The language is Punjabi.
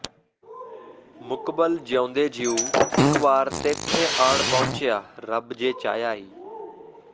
ਮੁਕਬਲ ਜਿਉਂਦੇ ਜੀਉ ਇਕਵਾਰ ਤੈਂਥੇ ਆਣ ਪਹੁੰਚਿਆ ਰੱਬ ਜੇ ਚਾਹਿਆ ਈ